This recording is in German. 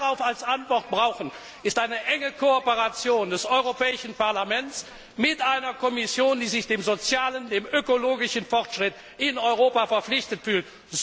Was wir darauf als Antwort brauchen, ist eine enge Kooperation des Europäischen Parlaments mit einer Kommission, die sich dem sozialen, dem ökologischen Fortschritt in Europa verpflichtet fühlt.